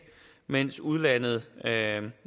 mens udlandet